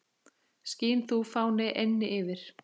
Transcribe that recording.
Skín þú, fáni, eynni yfir